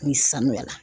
Ni sanuyara